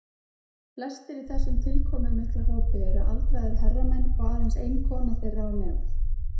Flestir í þessum tilkomumikla hópi eru aldraðir herramenn og aðeins ein kona þeirra á meðal.